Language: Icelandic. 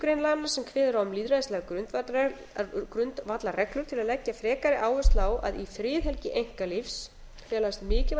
grein laganna sem kveður á um lýðræðislegar grundvallarreglur til að leggja frekari áherslu á að í friðhelgi einkalífs felast mikilvæg